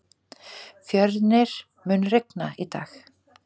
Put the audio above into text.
Fjörnir, mun rigna í dag?